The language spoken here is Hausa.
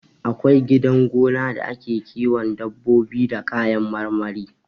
Akwai gidan gona da ake kiwon dabbobi da kayan marmari